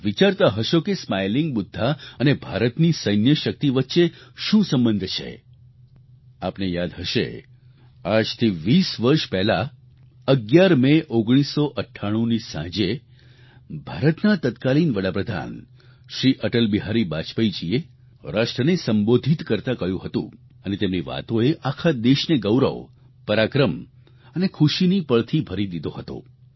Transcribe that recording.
આપ વિચારતા હશો કે સ્માઇલિંગ બુદ્ધ અને ભારતની સૈન્ય શક્તિ વચ્ચે શું સંબંધ છે આપને યાદ હશે આજથી 20 વર્ષ પહેલા 11 મે 1998ની સાંજે ભારતના તત્કાલીન વડાપ્રધાન શ્રી અટલબિહારી વાજપેયીજીએ રાષ્ટ્રને સંબોધિત કરતાં કહ્યું હતું અને તેમની વાતોએ આખા દેશને ગૌરવ પરાક્રમ અને ખુશીની પળથી ભરી દીધો હતો